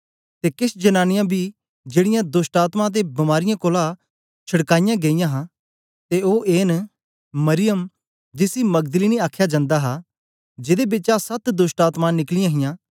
ते केछ जनांनीयां बी जेड़ीयां दोष्टआत्मायें ते बीमारीयें कोलां छुड़काईयां गेईयां हां ते ओ ए न मरियम जिसी मगदलीनी आख्या जन्दा हा जेदे बिचा सत दोष्टआत्मायें निकलीयां हां